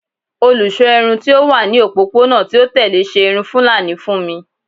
Olusọ irun ti o wa ni opopona ti o tẹle ṣe irun fulani fun mi